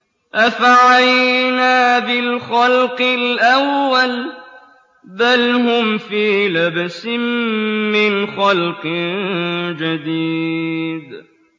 أَفَعَيِينَا بِالْخَلْقِ الْأَوَّلِ ۚ بَلْ هُمْ فِي لَبْسٍ مِّنْ خَلْقٍ جَدِيدٍ